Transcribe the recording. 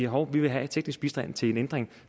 hov vi vil have teknisk bistand til en ændring